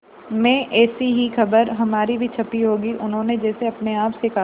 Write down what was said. में ऐसी ही खबर हमारी भी छपी होगी उन्होंने जैसे अपने आप से कहा